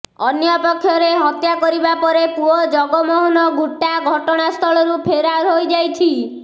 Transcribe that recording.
ଅନ୍ୟପକ୍ଷରେ ହତ୍ୟା କରିବା ପରେ ପୁଅ ଜଗମୋହନ ଘୁଟା ଘଟଣାସ୍ଥଳରୁ ଫେରାର୍ ହୋଇଯାଇଛି